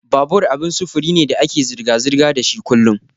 Babur abin sufuri ne da ake zirga-zirga dashi kullun.